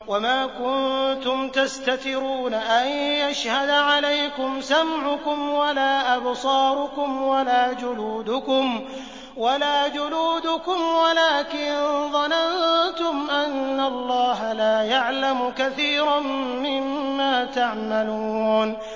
وَمَا كُنتُمْ تَسْتَتِرُونَ أَن يَشْهَدَ عَلَيْكُمْ سَمْعُكُمْ وَلَا أَبْصَارُكُمْ وَلَا جُلُودُكُمْ وَلَٰكِن ظَنَنتُمْ أَنَّ اللَّهَ لَا يَعْلَمُ كَثِيرًا مِّمَّا تَعْمَلُونَ